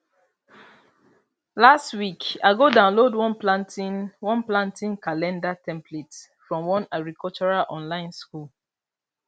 last week i go download one planting one planting calendar template from one agricultural online school